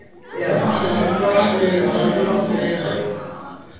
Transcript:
Það hlaut að vera eitthvað að.